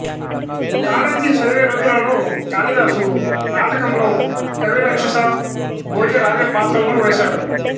college చదివే రోజులలో కాళిదాసు నాటకంలో కవిరాక్షస భోజరాజ పాత్రలను వేశాడు